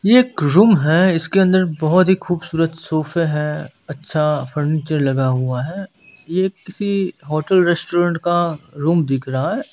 ये एक रूम है इसके अंदर बहुत ही खूबसूरत सोफे हैं अच्छा फर्नीचर लगा हुआ है यह किसी होटल रेस्टोरेंट का रूम दिख रहा है।